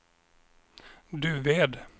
Duved